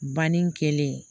Banni kɛlen